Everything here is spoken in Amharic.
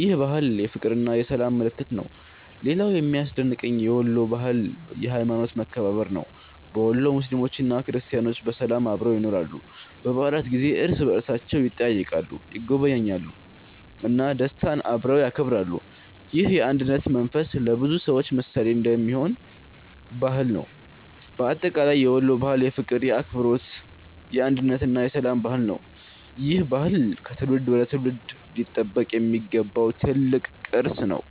ይህ ባህል የፍቅርና የሰላም ምልክት ነው። ሌላው የሚያስደንቀኝ የወሎ ባህል የሀይማኖት መከባበር ነው። በወሎ ሙስሊሞችና ክርስቲያኖች በሰላም አብረው ይኖራሉ። በበዓላት ጊዜ እርስ በእርሳቸው ይጠያየቃሉ፣ ይጎበኛሉ እና ደስታን አብረው ያከብራሉ። ይህ የአንድነት መንፈስ ለብዙ ሰዎች ምሳሌ የሚሆን ባህል ነው። በአጠቃላይ የወሎ ባህል የፍቅር፣ የአክብሮት፣ የአንድነት እና የሰላም ባህል ነው። ይህ ባህል ከትውልድ ወደ ትውልድ ሊጠበቅ የሚገባው ትልቅ ቅርስ ነው።